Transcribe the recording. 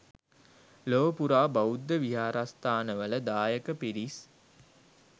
ලොව පුරා බෞද්ධ විහාරස්ථානවල දායක පිරිස්